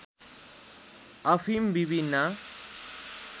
अफिम विभिन्न